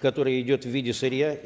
которая идет в виде сырья